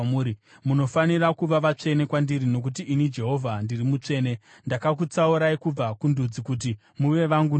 Munofanira kuva vatsvene kwandiri nokuti ini Jehovha ndiri mutsvene. Ndakakutsaurai kubva kundudzi kuti muve vangu ndoga.